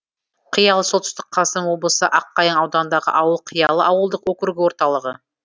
қиялы солтүстік қазақстан облысы аққайың ауданындағы ауыл қиялы ауылдық округі орталығы